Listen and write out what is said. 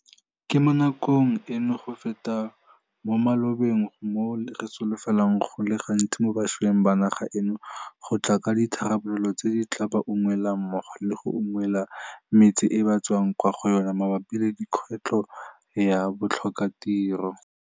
Ke mo nakong eno go feta mo malobeng mo re solofelang go le gontsi mo bašweng ba naga eno go tla ka ditharabololo tse di tla ba unngwelang mmogo le go unngwela metse e ba tswang kwa go yona mabapi le kgwetlho ya botlhokatiro.